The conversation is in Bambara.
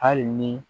Hali ni